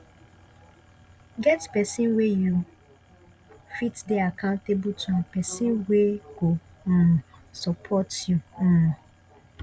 get persin wey you fit de accountable to and person wey go um support you um